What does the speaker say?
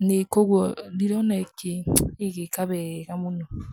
Nĩ kũogua ndirona ĩgĩĩka wega mũno.